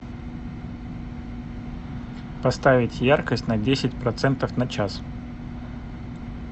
поставить яркость на десять процентов на час